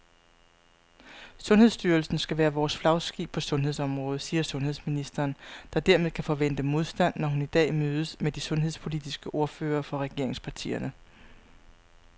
Sundhedsstyrelsen skal være vores flagskib på sundhedsområdet, siger sundhedsministeren, der dermed kan forvente modstand, når hun i dag mødes med de sundhedspolitiske ordførere fra regeringspartierne.